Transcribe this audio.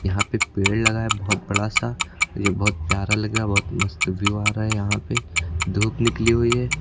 यहां पे पेड़ लगा है बहुत बड़ा सा और ये बहुत प्यारा लग रहा बहुत मस्त व्यू आ रहा है यहां पे धूप निकली हुई है।